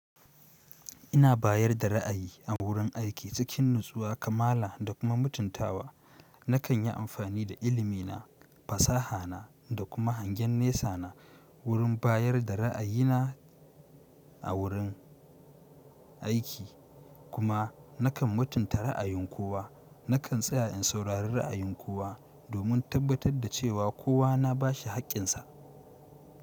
Ina bayar da ra'ayi a wurin aiki cikin natsuwa, kamala da kuma mutuntawa. Nakan yi amfani da ilimi na, fasaha na da kuma hangen nesa na wurin bayar da ra'ayi na a wurin aiki. Kuma nakan mutunta ra'ayin kowa. Nakan tsaya in saurari ra'ayin kowa, domin in tabbatar da cewa kowa na bashi hakkinsa.